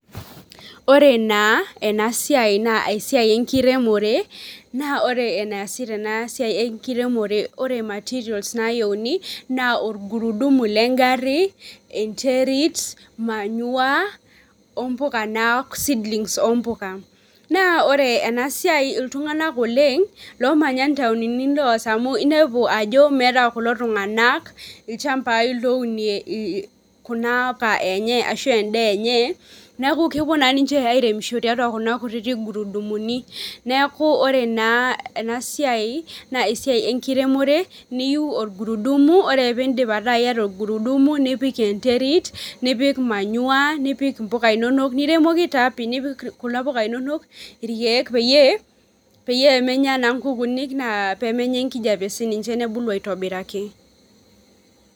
Ore na enasiai na esiai enkiremore na ore enaasi tenasiai enkiremore ore materials nayieuni na orgurudumu lengari enterit, manure ombuka na seedlings ompuka na ore enasiai ltunganak oleng lomanya ntauni loas amu inepu ajo meeta ltunganak lchambai louniie kuna puka enye ashu endaa enye neaku keouo na ninche qiremisho tiatua kuna kutitik guru dumuni neaku ore ena siai na esiai enkiremore niyeu orgurudumu, ore pedip ata iyata orgurudumu nipik enderit nipik mpukainonok niremoki taa pii nipik kuna puka inonok irkiek peyie emenya na nkukuuni ,pemenya enkijape oleng nebulu aitobiraki.